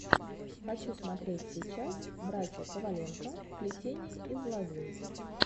хочу смотреть сейчас братья коваленко плетение из лозы